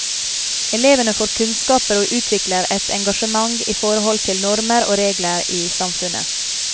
Elevene får kunnskaper og utvikler et engasjement i forhold til normer og regler i samfunnet.